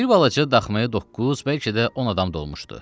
Bir balaca daxmaya doqquz, bəlkə də 10 adam dolmuşdu.